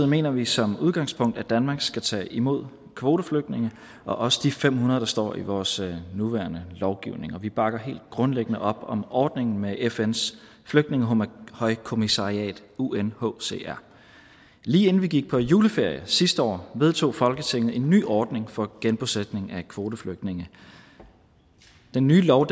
mener vi som udgangspunkt at danmark skal tage imod kvoteflygtninge og også de fem hundrede der står i vores nuværende lovgivning og vi bakker helt grundlæggende op om ordningen med fns flygtningehøjkommissariat unhcr lige inden vi gik på juleferie sidste år vedtog folketinget en ny ordning for genbosætning af kvoteflygtninge den nye lov